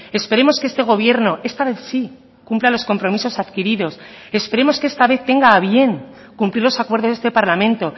esperemos que este gobierno esta vez sí cumpla los compromisos adquiridos esperemos que esta vez tenga a bien cumplir los acuerdos de este parlamento